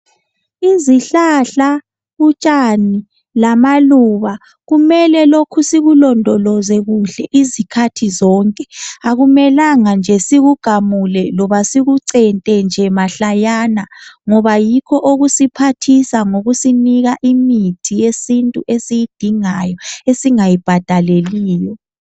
Izihlahla utshani lamaluba kumele lokhu sikulondoloze kuhle izikhathi zonke akumelanga nje sikugamule loba sikucente nje mahlayana ngoba yikho okusiphathisa ngokusinika imithi yesintu esiyidingayo esingayi bhadaleliyo.